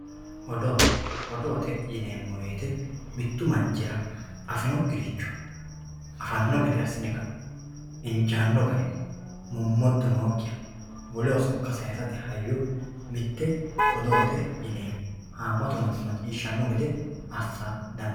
odoo, odoote yineemmo woyte mittu manchira afinokkiricho afanno gede assi'ne injaanno garinni mommodda nookkiha woleho sokka sayiisate hayyo mitte odoote yeemmo ,haamatu manni macciishshannno gede assa dandiinanni.